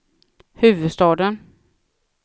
huvudstaden